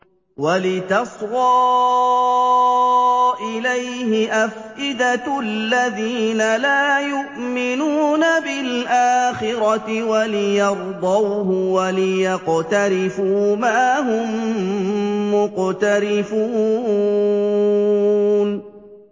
وَلِتَصْغَىٰ إِلَيْهِ أَفْئِدَةُ الَّذِينَ لَا يُؤْمِنُونَ بِالْآخِرَةِ وَلِيَرْضَوْهُ وَلِيَقْتَرِفُوا مَا هُم مُّقْتَرِفُونَ